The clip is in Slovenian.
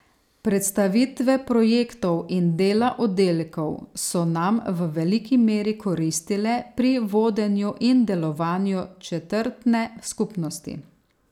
Predstavitve projektov in dela oddelkov so nam v veliki meri koristile pri vodenju in delovanju četrtne skupnosti.